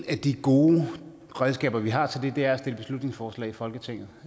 af de gode redskaber vi har til det er at fremsætte beslutningsforslag i folketinget